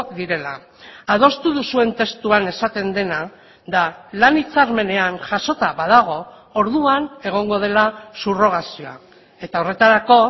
direla adostu duzuen testuan esaten dena da lan hitzarmenean jasota badago orduan egongo dela subrogazioa eta horretarako